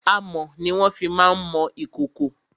Amọ̀ ni wọ́n fi má ń mọ ìkòkò.